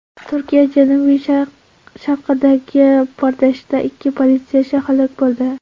Turkiya janubi-sharqidagi portlashda ikki politsiyachi halok bo‘ldi.